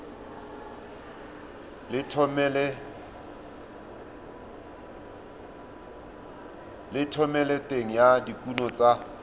le thomeloteng ya dikuno tsa